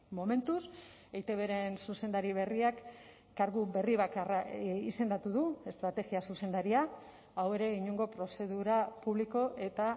momentuz eitbren zuzendari berriak kargu berri bakarra izendatu du estrategia zuzendaria hau ere inongo prozedura publiko eta